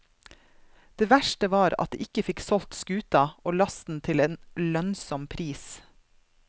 Det verste var at de ikke fikk solgt skuta og lasten til en lønnsom pris.